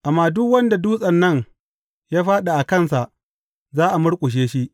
Amma duk wanda dutsen nan ya fāɗi a kansa, za a murƙushe shi.